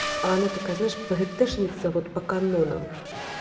а она такая знаешь пгтэшница вот по канонам